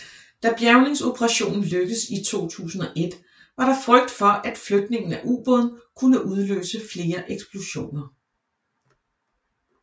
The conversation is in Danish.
Da bjærgningsoperationen lykkedes i 2001 var der frygt for at flytningen af ubåden kunne udløse flere eksplosioner